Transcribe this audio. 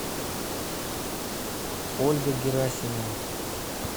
ольга герасимова